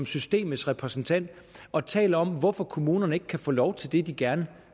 systemets repræsentant og taler om hvorfor kommunerne ikke kan få lov til det de gerne